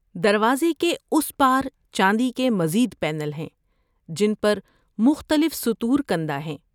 دروازے کے اس پار چاندی کے مزید پینل ہیں جن پر مختلف سطور کندہ ہیں۔